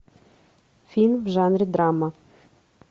фильм в жанре драма